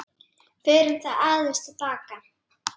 Förum þá aðeins til baka.